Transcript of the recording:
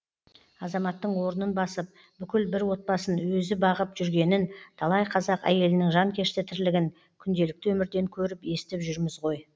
азаматтың орнын басып бүкіл бір отбасын өзі бағып жүргенін талай қазақ әйелінің жанкешті тірлігін күнделікті өмірден көріп естіп жүрміз ғой